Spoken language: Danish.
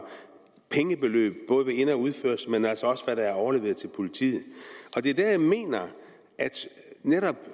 pengebeløb både ved ind og udførsel men altså også hvad der er overleveret til politiet og det er dér jeg mener at netop